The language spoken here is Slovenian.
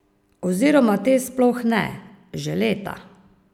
Oziroma te sploh ne, že leta.